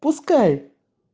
пускай